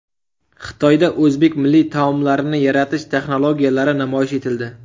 Xitoyda o‘zbek milliy matolarini yaratish texnologiyalari namoyish etildi.